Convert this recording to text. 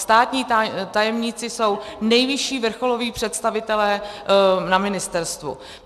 Státní tajemníci jsou nejvyšší vrcholoví představitelé na ministerstvu.